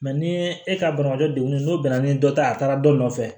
ni e ka banabaatɔ degunen n'o bɛnna ni dɔ ta ye a taara dɔ nɔfɛ